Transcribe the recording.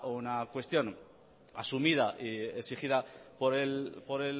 una cuestión asumida y exigida